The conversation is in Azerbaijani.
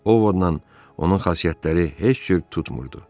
Ovudla onun xasiyyətləri heç cür tutmurdu.